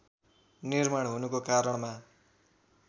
निर्माण हुनुको कारणमा